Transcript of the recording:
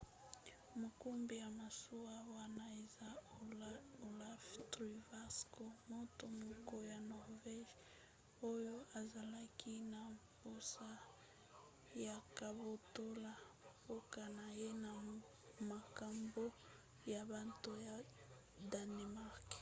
mokumbi ya masuwa wana eza olaf trygvasson moto moko ya norvége oyo azalaki na mposa ya kobotola mboka na ye na maboko ya bato ya danemark